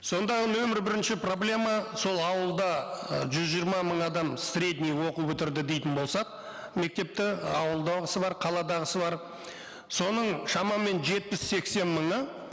сондағы нөмір бірінші проблема сол ауылда ы жүз жиырма мың адам средний оқу бітірді дейтін болсақ мектепті ауылдағысы бар қаладағысы бар соның шамамен жетпіс сексен мыңы